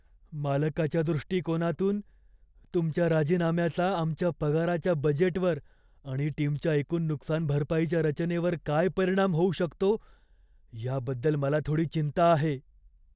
मालकाच्या दृष्टीकोनातून, तुमच्या राजीनाम्याचा आमच्या पगाराच्या बजेटवर आणि टीमच्या एकूण नुकसानभरपाईच्या रचनेवर काय परिणाम होऊ शकतो याबद्दल मला थोडी चिंता आहे.